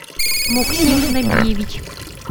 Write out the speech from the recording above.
муксим набиевич